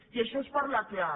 i això és parlar clar